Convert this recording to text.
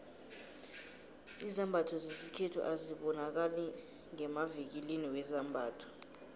izambatho zesikhethu azibonakali ngemavikilini wezambatho